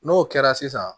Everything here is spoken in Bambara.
N'o kɛra sisan